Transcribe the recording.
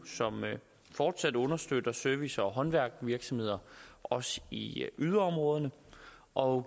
som fortsat understøtter service og håndværksvirksomheder også i yderområderne og